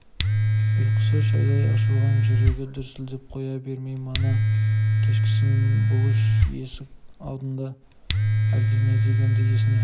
ұйқысы шайдай ашылып жүрегі дүрсілдеп қоя берді мана кешкісін бұлыш есік алдыңда әлдене дегені есіне